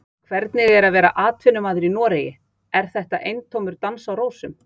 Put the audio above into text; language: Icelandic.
Hvernig er að vera atvinnumaður í Noregi, er þetta eintómur dans á rósum?